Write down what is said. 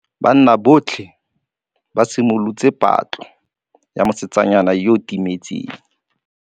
Banna botlhê ba simolotse patlô ya mosetsana yo o timetseng.